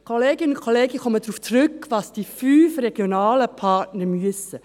Kolleginnen und Kollegen, ich komme darauf zurück, was die fünf regionalen Partner müssen: